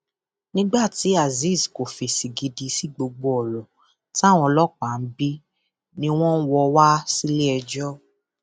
nígbà tí azeez kò fèsì gidi sí gbogbo ọrọ táwọn ọlọpàá ń bí i ni wọn wọ ọ wá síléẹjọ